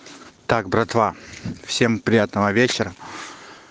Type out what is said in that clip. так братва всем приятного вечера